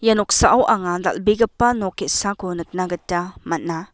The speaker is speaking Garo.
ia noksao anga dal·begipa nok ge·sako nikna gita man·a.